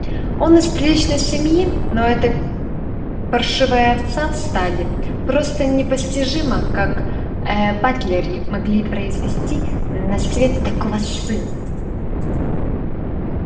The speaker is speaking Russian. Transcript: он из приличной семьи но эта паршивая овца в стаде просто непостижимо как ээ батлеры могли произвести на свет такого сына